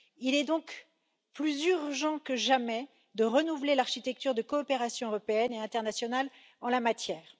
Il est donc plus urgent que jamais de renouveler l'architecture de coopération européenne et internationale en la matière.